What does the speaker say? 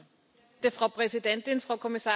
Frau Präsidentin, Frau Kommissarin!